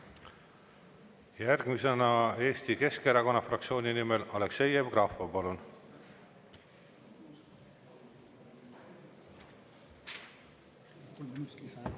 Järgmisena Eesti Keskerakonna fraktsiooni nimel Aleksei Jevgrafov, palun!